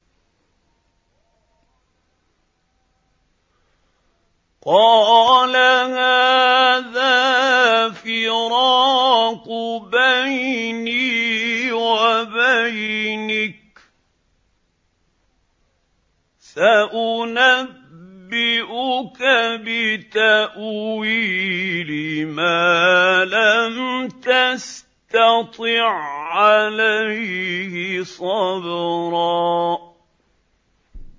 قَالَ هَٰذَا فِرَاقُ بَيْنِي وَبَيْنِكَ ۚ سَأُنَبِّئُكَ بِتَأْوِيلِ مَا لَمْ تَسْتَطِع عَّلَيْهِ صَبْرًا